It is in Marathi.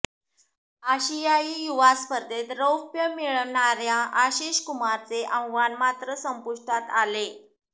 आशियाई युवा स्पर्धेत रौप्य मिळविणाऱया आशिष कुमारचे आव्हान मात्र संपुष्टात आले